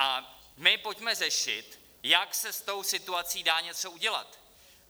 A my pojďme řešit, jak se s tou situací dá něco udělat.